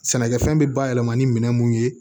Sɛnɛkɛfɛn bɛ bayɛlɛma ni minɛn mun ye